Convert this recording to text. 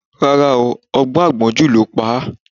Rárá ooo, ọgbọ́n àgbọ́njù ló pa á